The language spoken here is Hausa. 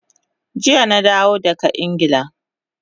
Jiya na dawo daga Ingila